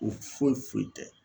O foyi foyi tɛ